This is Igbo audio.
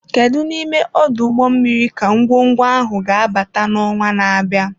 Kedu n'ime ọdụ ụgbọ mmiri ka ngwongwo ahụ ga-abata n'ọnwa na-abịa?